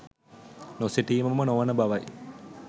නොසිටීම ම නොවන බවයි.